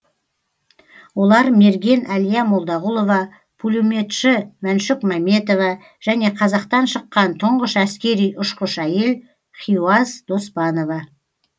олар мерген әлия молдағұлова пулеметші мәншүк мәметова және қазақтан шыққан тұңғыш әскери ұшқыш әйел хиуаз доспанова